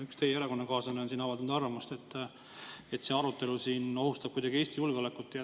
Üks teie erakonnakaaslane on avaldanud arvamust, et see arutelu siin ohustab kuidagi Eesti julgeolekut.